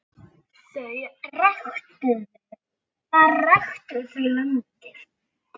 Þar ræktuðu þau landið.